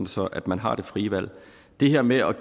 sådan at man har det frie valg det her med at